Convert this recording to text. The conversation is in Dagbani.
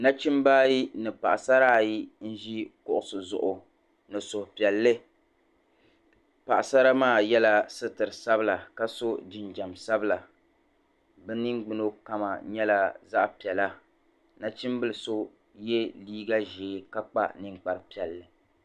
nachimba ayi ni paɣisara ayi n-ʒi kuɣisi zuɣu ni suhupiɛlli paɣisara maa yɛla sitir’sabila ka sɔ jinjɛm sabila bɛ ningbuna kama nyɛla zaɣ’piɛla nachimbila so ye leega ʒee ka kpa ninkpar’piɛlli